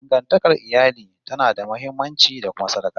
Dangantakar iyali tana da muhimmanci, da kuma sarƙaƙiya